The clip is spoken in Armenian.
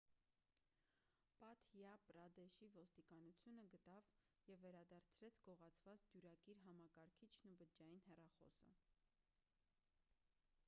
մադհյա պրադեշի ոստիկանությունը գտավ ու վերադարձրեց գողացված դյուրակիր համակարգիչն ու բջջային հեռախոսը